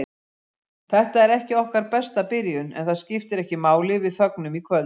Þetta var ekki okkar besta byrjun, en það skiptir ekki máli, við fögnum í kvöld.